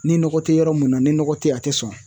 Ni nɔgɔ te yɔrɔ mun na, ni nɔgɔ te ye a te sɔn.